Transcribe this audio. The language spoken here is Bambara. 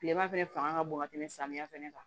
Kilema fɛnɛ fanga ka bon ka tɛmɛ samiyɛ fɛnɛ kan